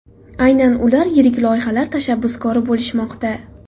Aynan ular yirik loyihalar tashabbuskori bo‘lishmoqda.